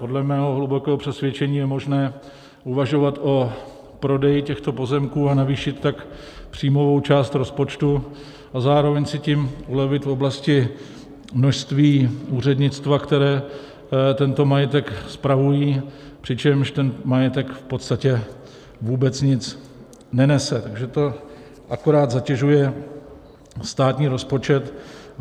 Podle mého hlubokého přesvědčení je možné uvažovat o prodeji těchto pozemků a navýšit tak příjmovou část rozpočtu a zároveň si tím ulevit v oblasti množství úřednictva, které tento majetek spravuje, přičemž ten majetek v podstatě vůbec nic nenese, takže to akorát zatěžuje státní rozpočet.